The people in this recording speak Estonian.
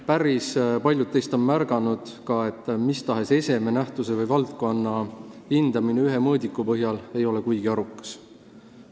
Päris paljud teist on ka märganud, et mis tahes eseme, nähtuse või valdkonna hindamine ühe mõõdiku põhjal ei ole kuigi arukas.